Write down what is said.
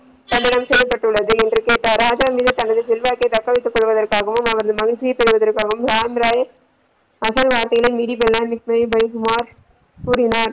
சடலம் செய்யப்பட்டுள்ளது என்று கேட்டார் ராஜா தனது செல்வாக்கு தக்க வைத்துக்கொள்ள அவரது மகிழ்ச்சியை பெறுவதற்காகவும் ராம்ராய் அகழ் வாழ்க்கையில கூறினார்.